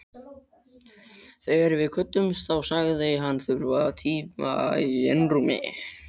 Þegar við kvöddumst þá sagðist hann þurfa tíma í einrúmi.